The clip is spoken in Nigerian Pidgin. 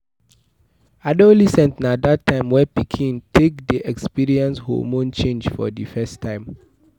adolescent na dat time wey pikin take dey experience hormone change for di first time